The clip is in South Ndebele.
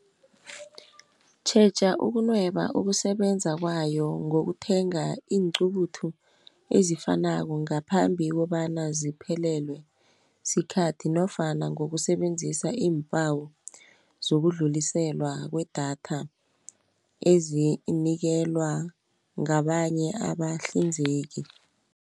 Tjheja ukunweba ukusebenza kwayo, ngokuthenga iinqubuthu ezifanako, ngaphambi kobana ziphelelwe sikhathi, nofana ngokusebenzisa iimpawo zokudluliselwa kwedatha, ezinikelwa ngabanye abahlinzeki.